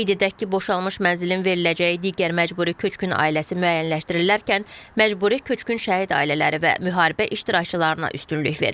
Qeyd edək ki, boşalmış mənzilin veriləcəyi digər məcburi köçkün ailəsi müəyyənləşdirilərkən məcburi köçkün şəhid ailələri və müharibə iştirakçılarına üstünlük verilir.